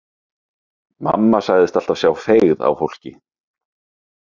Mamma sagðist alltaf sjá feigð á fólki.